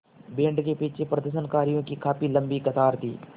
band के पीछे प्रदर्शनकारियों की काफ़ी लम्बी कतार थी